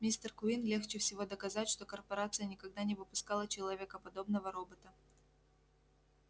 мистер куинн легче всего доказать что корпорация никогда не выпускала человекоподобного робота